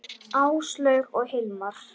Áslaug og Hilmar.